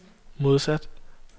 modsat